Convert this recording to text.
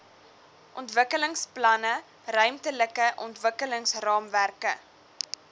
ontwikkelingsplanne ruimtelike ontwikkelingsraamwerke